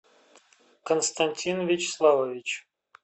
константин вячеславович